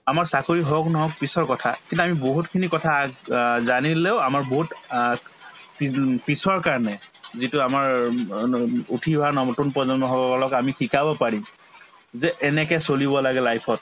আমাৰ চাকৰি হওক নহওক পিছৰ কথা কিন্তু আমি বহুতখিনি কথা আগ অ জানিলেও আমাৰ বহুত অ পিদোম‍ পিছৰ কাৰণে যিটো আমাৰ উম অ উঠি অহা নৱ নতুন প্ৰজন্মসকলক আমি শিকাব পাৰিম যে এনেকে চলিব লাগে life ত